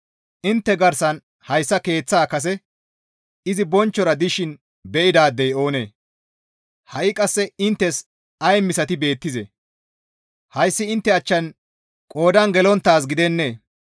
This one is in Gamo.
‹Intte garsan hayssa keeththa kase izi bonchchora dishin be7idaadey oonee? Ha7i qasse inttes ay misati beettizee? Hayssi intte achchan qoodan gelonttaaz gidennee?